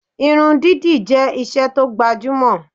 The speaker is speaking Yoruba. Irun dídì jẹ́ isẹ́ tó gbajúmọ̀